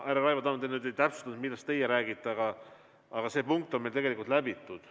Härra Raivo Tamm, te ei täpsustanud, millest te räägite, aga see punkt on meil tegelikult läbitud.